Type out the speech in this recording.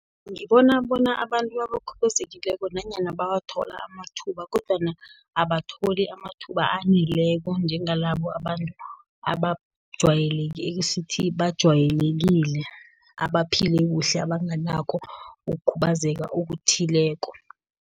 Ngibona bona abantu abakhubazekileko nanyana bawathola amathuba, kodwana abatholi amathuba aneleko, njengalabo abantu esithi bajwayelekile abaphile kuhle, abanganakho ukukhubazeka okuthileko.